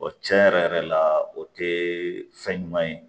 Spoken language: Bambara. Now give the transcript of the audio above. tiɲɛ yɛrɛ yɛrɛ la o tɛ fɛn ɲuman ye